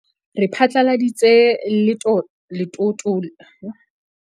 Re phatlaladitse letoto le ntjhafaditsweng la Bokgoni ba Bohlokwa, hape e le lekgetlo la pele ho tloha ka 2014.